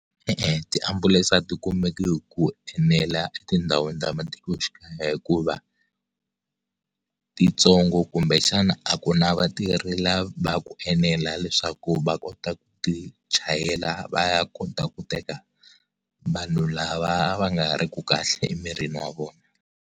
E-e tiambulense a ti kumeki hi ku enela etindhawini ta matikoxikaya hikuva titsongo kumbe xana a ku na vatirhi va ku enela leswaku va kota ku ti chayela va ya kota ku teka vanhu lava va nga ri ki kahle emirini wa vona.